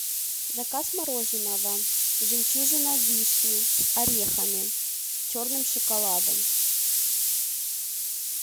заказ мороженого жемчужина вишни с орехами черным шоколадом